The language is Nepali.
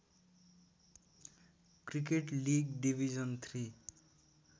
cricket league division three